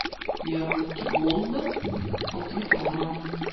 яблоки голден полтора килограмма